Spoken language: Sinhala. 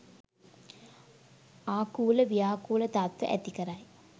ආකූල ව්‍යාකූල තත්ත්ව ඇති කරයි.